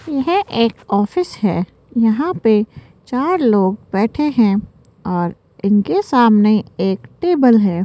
यह एक ऑफिस है यहां पे चार लोग बैठे है और इनके सामने एक टेबल है।